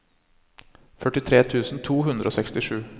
førtitre tusen to hundre og sekstisju